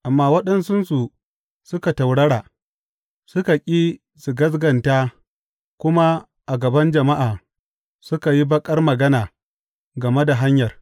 Amma waɗansunsu suka taurara; suka ƙi su gaskata kuma a gaban jama’a suka yi baƙar magana game da Hanyar.